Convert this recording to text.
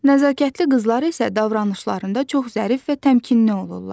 Nəzakətli qızlar isə davranışlarında çox zərif və təmkinli olurlar.